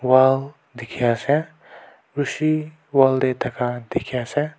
Wall dekhey ase rushi wall dae thaka dekhey ase.